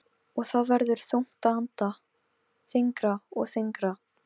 Hönd hans var mjúk en þvöl, næstum því sleip.